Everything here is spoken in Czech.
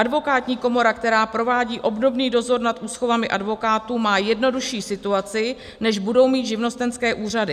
Advokátní komora, která provádí obdobný dozor nad úschovami advokátů, má jednodušší situaci, než budou mít živnostenské úřady.